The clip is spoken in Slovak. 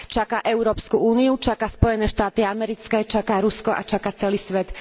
Čaká Európsku úniu, čaká Spojené štáty americké, čaká Rusko a čaká celý svet.